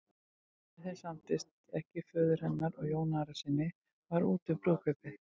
Ef þeim samdist ekki föður hennar og Jóni Arasyni var úti um brúðkaupið.